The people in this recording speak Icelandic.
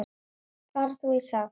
Far þú í sátt.